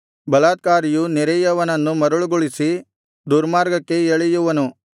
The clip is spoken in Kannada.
ಬಲಾತ್ಕಾರಿಯು ನೆರೆಯವನನ್ನು ಮರುಳುಗೊಳಿಸಿ ದುರ್ಮಾರ್ಗಕ್ಕೆ ಎಳೆಯುವನು